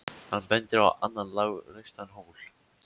Hann bendir á annan lágreistan hól.